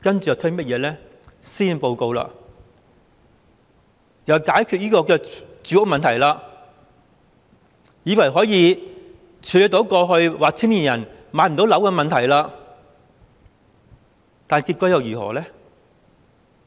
接着，施政報告又推出解決住屋問題的措施，以為可以處理青年人過去說無法置業的問題，但結果又如何呢？